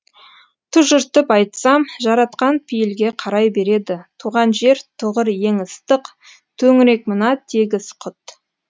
тұжыртып айтсам жаратқан пейілге қарай береді туған жер тұғыр ең ыстық төңірек мына тегіс құт